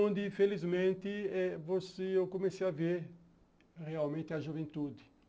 onde, felizmente eh você, eu comecei a ver realmente a juventude.